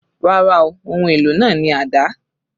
Rárá ooo, ohun èlò náà ni àdá